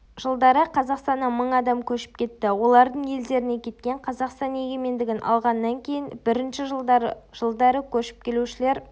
жылдары қазақстаннан мың адам көшіп кетті олардың елдеріне кеткен қазақстан егемендігін алғаннан кейін бірінші жылдары жылдары көшіп келушілер